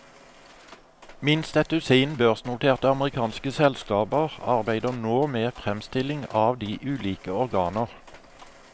Minst et dusin børsnoterte amerikanske selskaper arbeider nå med fremstilling av de ulike organer.